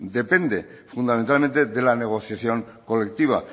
depende fundamentalmente de la negociación colectiva